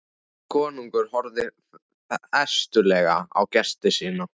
Konungur horfði festulega á gesti sína.